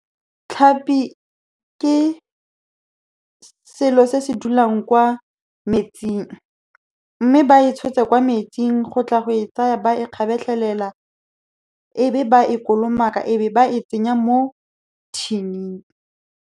Tlhapi ke selo se se dulang kwa metsing, mme ba e tshotse kwa metsing, gotla go e tsaya ba e kgabetlhelela. Ebe ba e kolomaka, ebe ba e tsenya mo tin-ing.